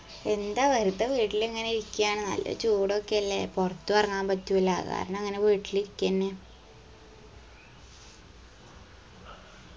എന്താ വെർതെ വീട്ടിലിങ്ങനെ ഇരിക്ക്യാണ് നല്ല ചൂടൊക്കെയല്ലേ പൊറത്തു എറങ്ങാൻ പറ്റൂല അത് കാരണം ഇങ്ങന വീട്ടിലിരിക്കെന്നെ